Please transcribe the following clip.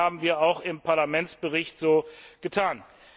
Ich denke, das haben wir auch im Parlamentsbericht getan.